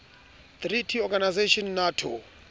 treaty organization nato